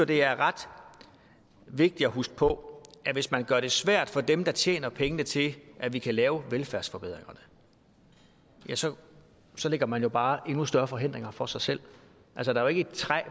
det er ret vigtigt at huske på at hvis man gør det svært for dem der tjener pengene til at vi kan lave velfærdsforbedringer så så lægger man jo bare endnu større forhindringer for sig selv der er jo ikke et træ